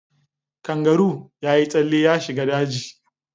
Kangaroo ya yi tsalle ya shiga daji.